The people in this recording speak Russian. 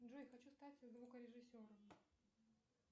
джой хочу стать звукорежиссером